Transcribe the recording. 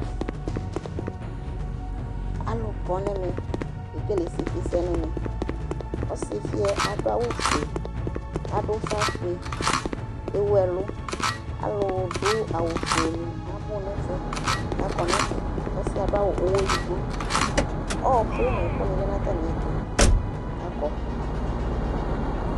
Alʊ kɔnɛ mɛ Kékélé ésɩfɩsɛnɛ mɛ Ɔsi fɩɛ adʊ ʊfă ƒʊé Éwʊ ɛlʊ Aḷʊ dʊ awʊ fʊénɩ abʊ nɛ ɛfʊɛ Kă akɔ nɛfɛ Ɔsiɛ adʊ awʊ ʊwɔ ëdigbo Ɔkʊ nɛ ɛkʊni lanʊ atamɩɛtʊ Kă aƙɔ